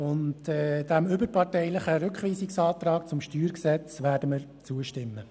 Auch dem überparteilichen Rückweisungsantrag zum StG werden wir zustimmen.